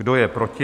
Kdo je proti?